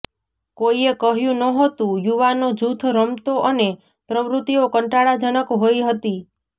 કોઈએ કહ્યું નહોતું યુવાનો જૂથ રમતો અને પ્રવૃત્તિઓ કંટાળાજનક હોઈ હતી